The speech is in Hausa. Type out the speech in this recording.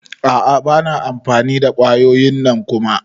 A'a bana amfani da kwayoyin nan Kuma.